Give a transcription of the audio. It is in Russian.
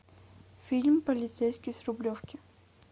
фильм полицейский с рублевки